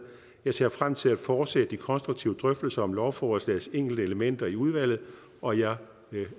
jeg ser frem til at fortsætte de konstruktive drøftelser om lovforslagets enkelte elementer i udvalget og jeg